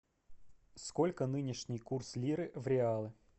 сколько нынешний курс лиры в реалы